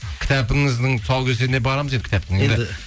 кітабыңыздың тұсаукесеріне барамыз енді кітаптың